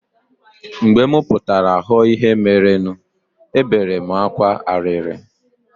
Mgbe m pụtara hụ ihe merenu, ebere m akwa arịrị.